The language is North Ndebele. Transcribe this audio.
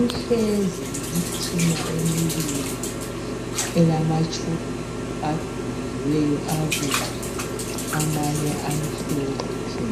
uhlezi lemitshina emibili elamatshubhu agonyiliweyo abomvu amanye amhlophe.